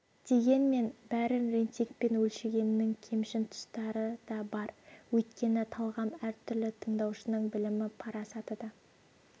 дегенмен бәрін рейтингпен өлшегеннің кемшін тұстары да бар өйткені талғам әр түрлі тыңдаушының білімі парасаты да